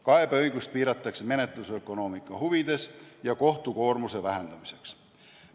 Kaebeõigust piiratakse menetlusökonoomika huvides ja kohtu koormuse vähendamiseks.